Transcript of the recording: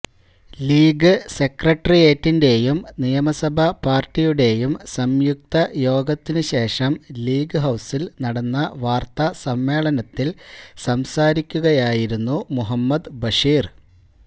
league സെക്രട്ടറിയേറ്റിന്റെയും നിയമസഭാ പാര്ട്ടിയുടെയും സംയുക്ത യോഗത്തിനു ശേഷം ലീഗ് ഹൌസില് നടന്ന വാര്ത്താ സമ്മേളനത്തില് സംസാരിക്കുകയായിരുന്നു മുഹമ്മദ് ബഷീര്